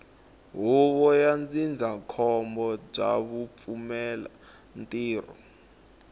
huvo ya ndzindzakhombo bya vupfumalantirho